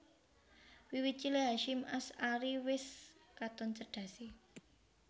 Wiwit cilik Hasyim Asy ari wis katon cerdasé